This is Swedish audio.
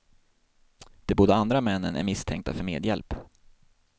De båda andra männen är misstänkta för medhjälp.